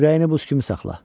Ürəyini buz kimi saxla.